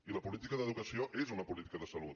i la política d’educació és una política de salut